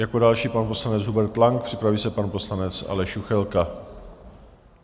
Jako další pan poslanec Hubert Lang, připraví se pan poslanec Aleš Juchelka.